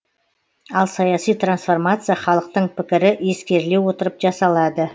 ал саяси трансформация халықтың пікірі ескеріле отырып жасалады